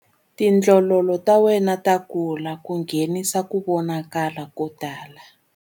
Tindlololo ta wena ta kula ku nghenisa ku vonakala ko tala.